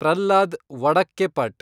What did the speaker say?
Pralhad Vadakkepat